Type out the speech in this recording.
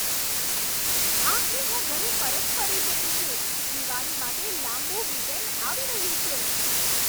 આખરે હું ઘરે પરત ફરી શકું છું. દિવાળી માટે લાંબુ વીકએન્ડ આવી રહ્યું છે.